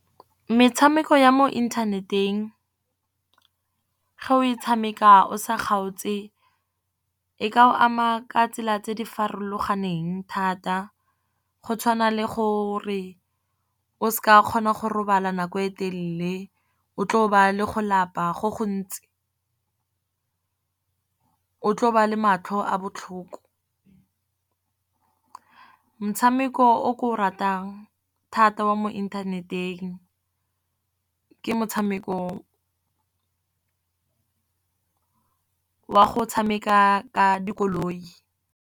Metshameko ya mo inthaneteng ge o e tshameka o sa kgaotse, e ka o ama ka tsela tse di farologaneng thata. Go tshwana le gore o se ka kgona go robala nako e telele, o tlo ba le go lapa go gontsi, o tlo ba le matlho a botlhoko. Motshameko o ke o ratang thata wa mo inthaneteng ke motshameko wa go tshameka ka dikoloi.